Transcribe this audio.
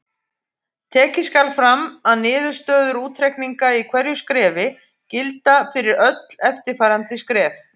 Tekið skal fram að niðurstöður útreikninga í hverju skrefi gilda fyrir öll eftirfarandi skref.